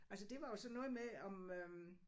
Altså det var jo sådan noget med om øh